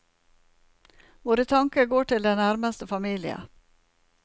Våre tanker går til den nærmeste familie.